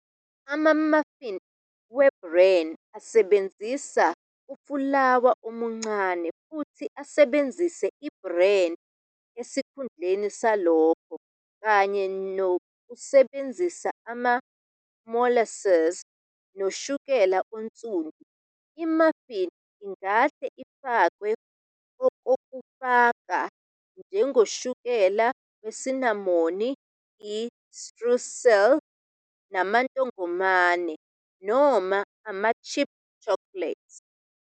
Ama-muffin we-Bran asebenzisa ufulawa omncane futhi asebenzise i-bran esikhundleni salokho, kanye nokusebenzisa ama-molasses noshukela onsundu. I-muffin ingahle ifakwe okokufaka, njengoshukela wesinamoni, i-streusel, amantongomane, noma ama-chip chocolate.